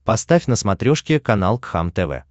поставь на смотрешке канал кхлм тв